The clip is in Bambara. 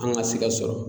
An ka se ka sɔrɔ